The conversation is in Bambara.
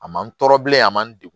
A ma nɔrɔ bilen a ma n degun